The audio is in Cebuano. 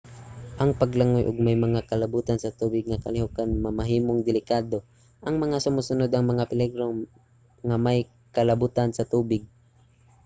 ang paglangoy ug may mga kalabutan sa tubig nga kalihokan mamahimong delikado. ang mga sumusunod ang mga peligro nga may kalabutan sa tubig: